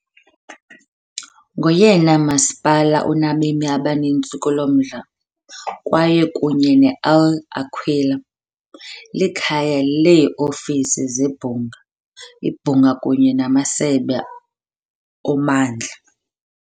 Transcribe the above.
Ngoyena masipala unabemi abaninzi kulo mdla kwaye, kunye ne-L' Aquila, likhaya leeofisi zebhunga, ibhunga kunye namasebe ommandla.